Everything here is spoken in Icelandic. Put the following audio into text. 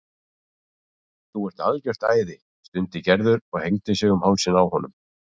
Þú ert algjört æði stundi Gerður og hengdi sig um hálsinn á honum.